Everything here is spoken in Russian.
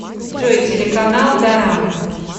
джой телеканал дорама